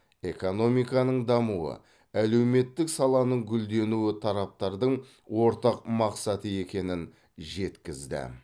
экономиканың дамуы әлеуметтік саланың гүлденуі тараптардың ортақ мақсаты екенін жеткізді